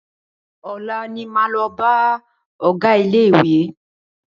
Ọ̀la ní máa lọ bá ọgá ilé ìwé.